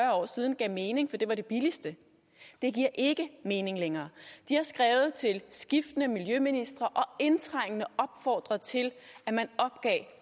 år siden gav mening fordi det var det billigste det giver ikke mening længere de har skrevet til skiftende miljøministre og indtrængende opfordret til at man opgav